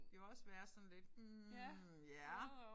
Jo også være sådan lidt hm ja